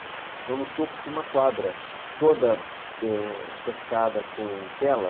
Então, no topo tinha uma quadra toda cercada com tela.